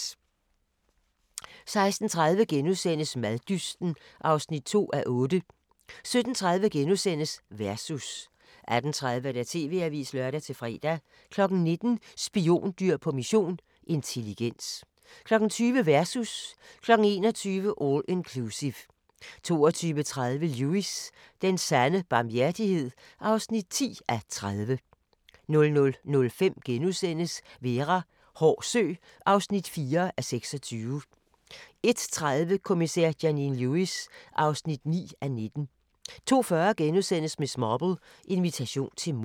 16:30: Maddysten (2:8)* 17:30: Versus * 18:30: TV-avisen (lør-fre) 19:00: Spiondyr på mission – intelligens 20:00: Versus 21:00: All Inclusive 22:30: Lewis: Den sande barmhjertighed (10:30) 00:05: Vera: Hård sø (4:26)* 01:30: Kommissær Janine Lewis (9:19) 02:40: Miss Marple: Invitation til mord *